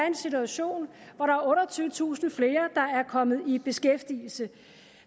en situation hvor der er otteogtyvetusind flere der er kommet i beskæftigelse